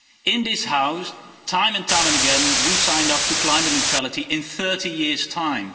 In this House, time and time and again, we signed up to climate neutrality in 30 years' time.